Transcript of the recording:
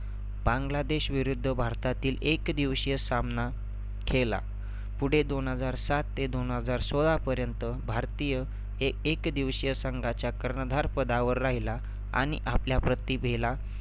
बांगलादेश विरुद्ध भारतातील एक दिवशीय सामना खेळला. पुढे दोन हजार सात ते दोन हजार सोळापर्यंत भारतीय हे एक दिवशीय संघाच्या कर्णधार पदावर राहिला आणि आपल्या प्रतिभेला